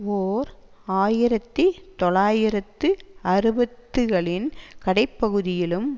ஓர் ஆயிரத்தி தொள்ளாயிரத்து அறுபத்துகளின் கடைப்பகுதியிலும்